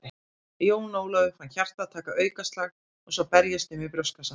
Jón Ólafur fann hjartað taka aukaslag og svo berjast um í brjóstkassanum.